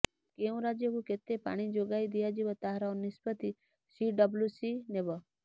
କେଉଁ ରାଜ୍ୟକୁ କେତେ ପାଣି ଯୋଗାଇ ଦିଆଯିବ ତାହାର ନିଷ୍ପତି ସିଡବ୍ଲୁସି ନେବ